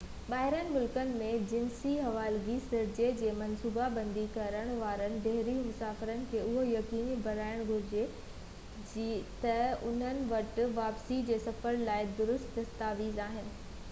ٻاهرين ملڪ ۾ جنسي حوالگي سرجري جي منصوبا بندي ڪرڻ وارن بحري مسافر کي اهو يقيني بڻائڻ گهرجي تہ انهن وٽ واپسي جي سفر لاءِ درست دستاويز آهن